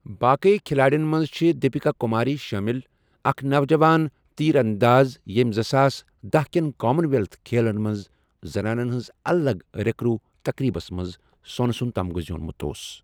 باقی کھلاڑین منٛز چھِ دِپِکا کُماری شٲمِل، اکھ نوجوان تیٖر اَنٛداز یٔمۍ زٕساس دہَ کٮ۪ن کامَن ویٚلتھ کھیلن منٛز زنانن ہنٛز الگ ریکرو تقریٖبس منٛز سوٚن سُنٛد تمغہٕ زیٖونمُت اوس۔